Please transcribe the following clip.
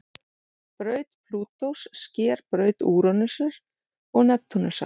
Braut Plútós sker braut Úranusar og Neptúnusar.